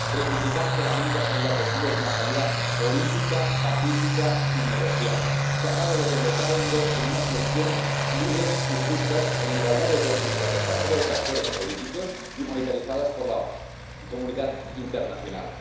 reivindicar que la única salida posible es una salida política, pacífica y negociada, que acabe desembocando en unas elecciones libres y justas, en igualdad de oportunidades para todos los actores políticos, y monitorizadas por la comunidad internacional.